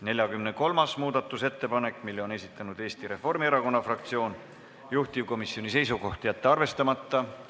43. muudatusettepaneku on esitanud Eesti Reformierakonna fraktsioon, juhtivkomisjoni seisukoht: jätta see arvestamata.